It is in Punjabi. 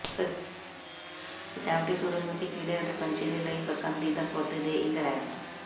ਸਜਾਵਟੀ ਸੂਰਜਮੁਖੀ ਕੀੜੇ ਅਤੇ ਪੰਛੀ ਦੇ ਲਈ ਪਸੰਦੀਦਾ ਪੌਦੇ ਦੇ ਇੱਕ ਹੈ